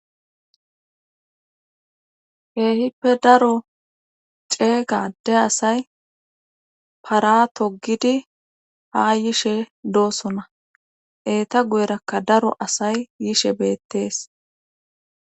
eehippe daro ceeygade asay paratogidi ha yishe doosona eeta guyerakka daro asay yishe beettees